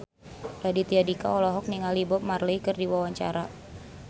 Raditya Dika olohok ningali Bob Marley keur diwawancara